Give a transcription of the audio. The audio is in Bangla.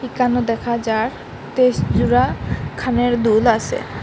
এখানো দেখা যার তেইশ জুড়া খানের দুল আসে।